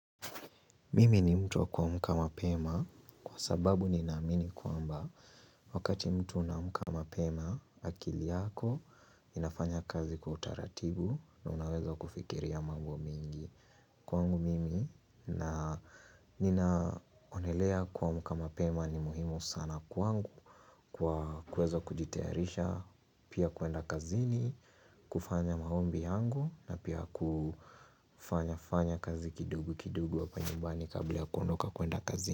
Mimi ni mtu kwa kuamka mapema kwa sababu ni naamini kwamba wakati mtu unaamka mapema akili yako inafanya kazi kwa utaratibu na unaweza kufikiria mambo mingi Kwangu mimi na ninaonelea kuamka mapema ni muhimu sana kwangu kwa kuweza kujitayarisha pia kuenda kazini kufanya maombi yangu na pia kufanya fanya kazi kidogo kidogo hapa nyumbani kabla kuondoka kwenda kazi.